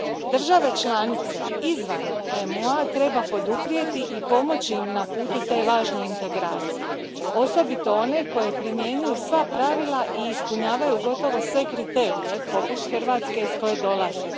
Države članice izvan EMU a treba poduprijeti i pomoći im na putu te važne integracije, osobito one koje primjenjuju sva pravila i ispunjavaju gotovo sve kriterije, poput Hrvatske, iz koje dolazim.